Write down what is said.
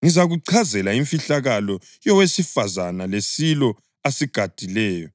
Ngizakuchazela imfihlakalo yowesifazane lesilo asigadileyo